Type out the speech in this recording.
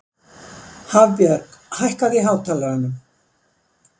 Hafbjörg, hækkaðu í hátalaranum.